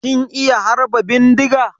Kin iya harba bindiga?